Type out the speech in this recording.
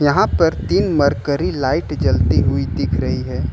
यहां पर तीन मर्करी लाइट जलती हुई दिख रही है।